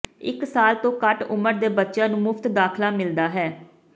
ਇੱਕ ਸਾਲ ਤੋਂ ਘੱਟ ਉਮਰ ਦੇ ਬੱਚਿਆਂ ਨੂੰ ਮੁਫਤ ਦਾਖਲਾ ਮਿਲਦਾ ਹੈ